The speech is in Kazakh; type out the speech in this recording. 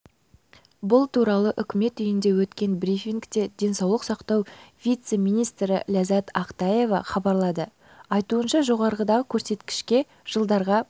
бұл туралы үкімет үйінде өткен брифингте денсаулық сақтау вице-министрі ләззат ақтаева хабарлады айтуынша жоғарыдағы көрсеткішке жылдарға